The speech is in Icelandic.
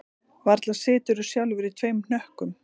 Varla siturðu sjálfur í tveim hnökkum